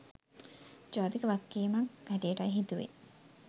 ජාතික වගකීමක් හැටියටයි හිතුවේ.